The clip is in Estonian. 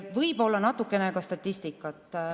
Võib-olla natukene ka statistikat.